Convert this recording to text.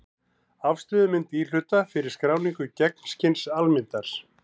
Afstöðumynd íhluta fyrir skráningu gegnskins-almyndar.